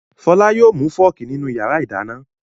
Fọlá yóò mú fọ́ọ́kì nínú ìyàrá-ìdáná.